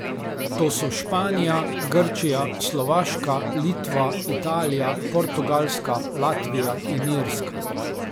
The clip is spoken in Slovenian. To so Španija, Grčija, Slovaška, Litva, Italija, Portugalska, Latvija in Irska.